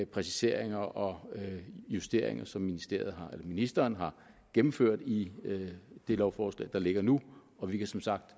præciseringer og justeringer som ministeren ministeren har gennemført i det lovforslag der ligger nu og vi kan som sagt